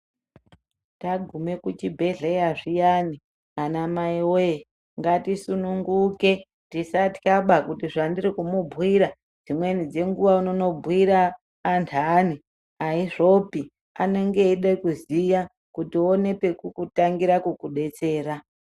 Taguma kuchibhedhlera zviyani ana mai woye ngatisunguke tisatya piyani kuti zvandiri kumubhuira dzimweni dzenguwa anobhuira andani azvindopi anenge eida kuziya kuti aone kekutangira kubatsira.